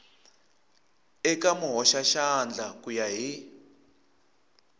eka muhoxaxandla ku ya hi